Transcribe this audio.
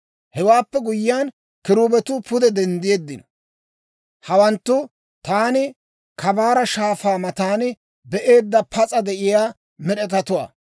Hewaappe guyyiyaan, kiruubetuu pude denddeeddino. Hawanttu taani Kabaara Shaafaa matan be'eedda pas'a de'iyaa med'etatuwaa.